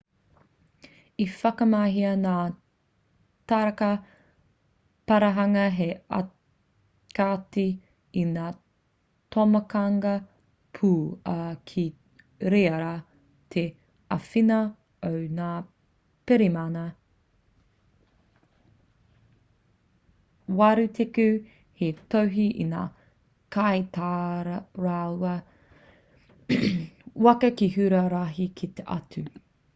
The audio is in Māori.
i whakamahia ngā taraka parahanga hei aukati i ngā tomokanga pū ā ki reira te āwhina o ngā pirihimana 80 hei tohu i ngā kaitaraiwa waka ki huarahi kē atu